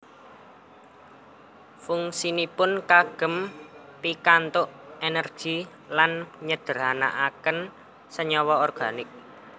Fungsinipun kagem pikantuk energi lan nyederhanaken senyawa organik